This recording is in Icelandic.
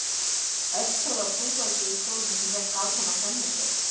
Öskraði á hrúgaldið í stólnum sem hélt áfram að þenja sig.